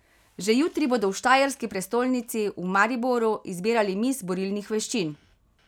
Že jutri bodo v štajerski prestolnici, v Mariboru, izbirali miss borilnih veščin.